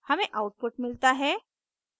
हमें आउटपुट मिलता है